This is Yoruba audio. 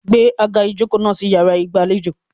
Gbé àga ìjokòó náà sí yàrá ìgbàlejò.